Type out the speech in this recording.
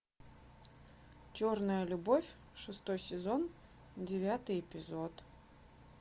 черная любовь шестой сезон девятый эпизод